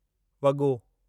वॻो